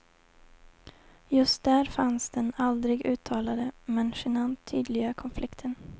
Just där fanns den aldrig uttalade men genant tydliga konflikten.